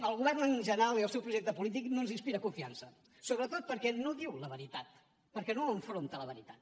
el govern en general i el seu projecte polític no ens inspira confiança sobretot perquè no diu la veritat perquè no enfronta la veritat